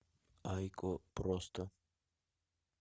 айко просто